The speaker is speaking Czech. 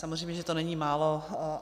Samozřejmě že to není málo.